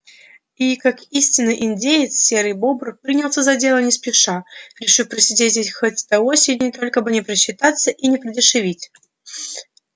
и как истинный индеец серый бобр принялся за дело не спеша решив просидеть здесь хоть до осени только бы не просчитаться и не продешевить